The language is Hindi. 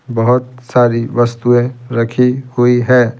बहुत सारी वस्तुएं रखी हुई है।